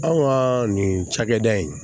Anw ka nin cakɛda in